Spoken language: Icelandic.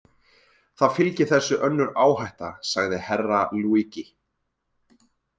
Það fylgir þessu önnur áhætta, sagði Herra Luigi.